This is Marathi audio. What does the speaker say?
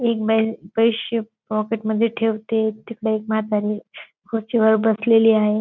एक बाईल पैसे पॉकेट मध्ये ठेवते ती बाई एक म्हातारी खुर्चीवर बसलेली आहे.